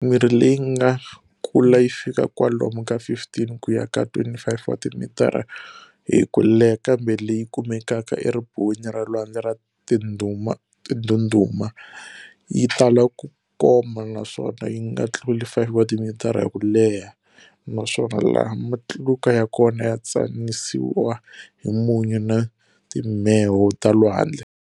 Mirhi leyi yi nga kula yi fika kwalomu ka 15 kuya ka 25 wa timitara hi kuleha, kambe leyi kumekaka e ribuweni ra lwandle ra tindhundhuma, yi tala ku koma naswona yi nga tluli 5 wa timitara hi kuleha, naswona laha matluka ya kona ya tsanisiwa hi munyu na timheho ta lwandle.